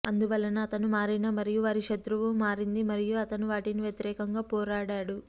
అందువలన అతను మారిన మరియు వారి శత్రువు మారింది మరియు అతను వాటిని వ్యతిరేకంగా పోరాడారు